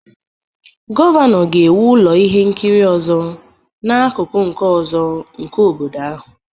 Gọvanọ ga-ewu ụlọ ihe nkiri ọzọ n'akụkụ nke ọzọ nke obodo ahụ